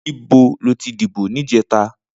Nibó lótí dibó nijètá?